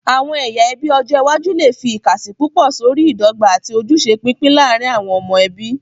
Àwọn ẹyà ẹbí ọjọ iwájú lè fi ìkàsí púpọ̀ sórí ìdọ́gba àti ojúṣe pípín láàárín àwọn ọmọ ẹbí.